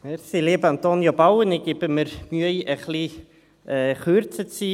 Kommissionssprecher der JuKo-Mehrheit. Lieber Antonio Bauen, ich gebe mir Mühe, etwas kürzer zu sein.